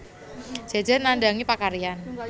Jejer nandhangi pakaryan